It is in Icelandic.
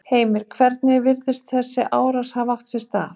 Heimir: Hvernig virðist þessi árás hafa átt sér stað?